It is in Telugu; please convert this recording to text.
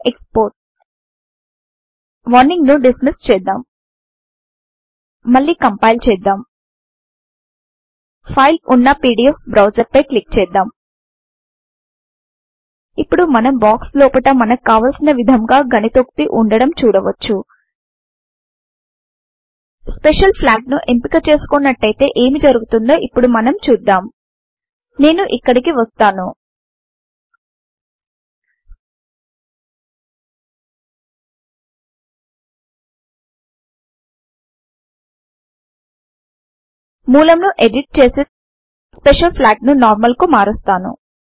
ఎక్స్పోర్ట్ వార్నింగ్ ను డిస్మిస్ చేద్దాం మళ్లీ కంపైల్ చేద్దాం ఫైల్ ఉన్న పీడీఎఫ్ బ్రౌసర్ పై క్లిక్ చేద్దాం ఇప్పుడు మనం బాక్స్ లోపట మనకు కావలిసిన విధముగా గణితోక్తి వుండడం చూడవచ్చు స్పెషల్ ఫ్లాగ్ ను ఎంపిక చేసుకోనట్టయితే ఏమి జరుగుతుందో ఇప్పుడు మనం చూద్దాం నేను ఇక్కడికి వస్తాను మూలమును ఎడిట్ చేసి స్పెషల్ ఫ్లాగ్ ను నార్మల్ కు మారుస్తాను